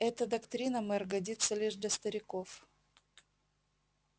эта доктрина мэр годится лишь для стариков